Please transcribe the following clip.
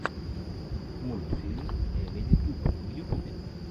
мультфильм эмили туб в ютубе